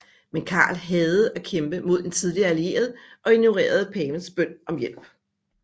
Men Karl hadede at kæmpe mod en tidligere allieret og ignorerede pavens bøn om hjælp